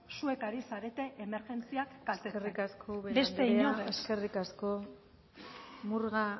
zuek ari zarete emergentziak eskerrik asko ubera andrea eskerrik asko murga